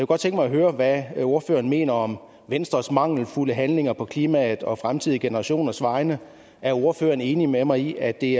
godt tænke mig at høre hvad ordføreren mener om venstres mangelfulde handlinger på klimaets og fremtidige generationers vegne er ordføreren enig med mig i at det